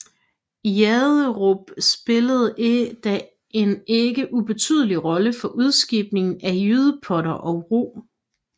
Janderup spillede da en ikke ubetydelig rolle for udskibningen af jydepotter og rug